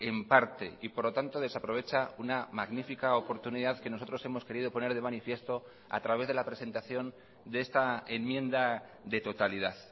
en parte y por lo tanto desaprovecha una magnífica oportunidad que nosotros hemos querido poner de manifiesto a través de la presentación de esta enmienda de totalidad